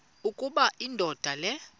ukuba indoda le